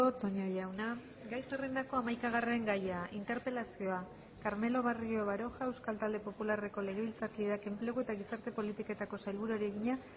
toña jauna gai zerrendako hamaikagarren gaia interpelazioa carmelo barrio baroja euskal talde popularreko legebiltzarkideak enplegu eta gizarte politiketako sailburuari egina